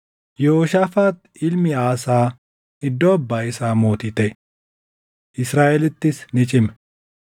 Yehooshaafaax ilmi Aasaa iddoo abbaa isaa mootii taʼe; Israaʼelittis ni cime.